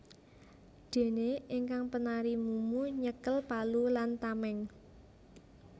Dene ingkang penari mumu nyekel palu lan tameng